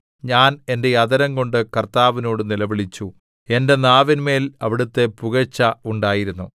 ഞാൻ എന്റെ അധരം കൊണ്ട് കർത്താവിനോട് നിലവിളിച്ചു എന്റെ നാവിന്മേൽ അവിടുത്തെ പുകഴ്ച ഉണ്ടായിരുന്നു